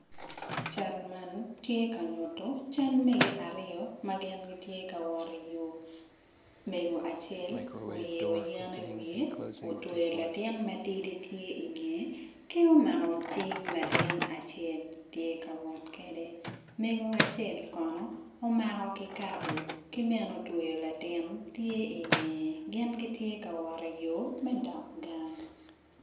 Cal man ti ka nyutu cal mege aryo ma gin tye ka wot i yo mego acel oyeyo yen i wiye utweyo latin matidi tye ingeye ki omako cing latin tye wot kede mego acel kono omako kikabo ki bene otweyo latin tye i ngeye gin gitye ka wot i yo me dok gang